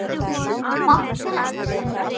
Bankar ekki.